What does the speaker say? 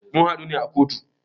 Mun hadu ne a kotu.